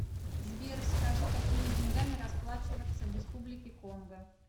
сбер скажи какими деньгами расплачиваться в республике конго